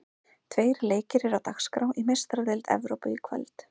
Tveir leikir eru á dagskrá í Meistaradeild Evrópu í kvöld.